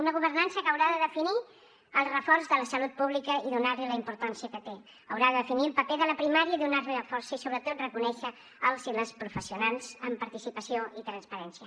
una governança que haurà de definir el reforç de la salut pública i donar li la importància que té haurà de definir el paper de la primària i donar li la força i sobretot reconèixer els i les professionals amb participació i transparència